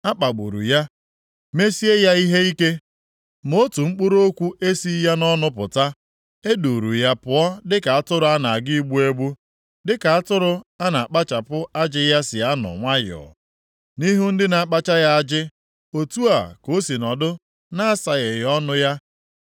A kpagburu ya, mesie ya ihe ike, ma otu mkpụrụ okwu esighị ya nʼọnụ pụta. E duuru ya pụọ dịka atụrụ a na-aga igbu egbu, dịka atụrụ a na-akpachapụ ajị ya si anọ nwayọọ nʼihu ndị na-akpacha ya ajị, otu a ka o si nọdụ na-asagheghị ọnụ ya.